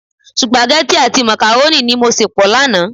Supageti àti makaroni ni mo se pọ lánàá.